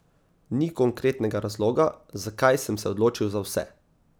Ni konkretnega razloga, zakaj sem se odločil za vse.